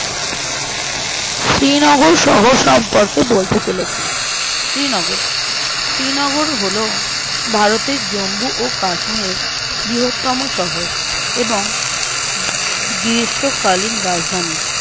শ্রীনগর শহর সম্পর্কে বলতে চলেছি শ্রীনগর শ্রীনগর হলো ভারতের জম্মু ও কাশ্মীর বৃহত্তম শহর এবং গ্রীষ্মকালীন রাজধানী